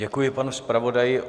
Děkuji panu zpravodaji.